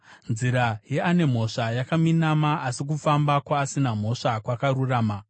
Nzira yeane mhosva yakaminama, asi kufamba kwaasina mhosva kwakarurama.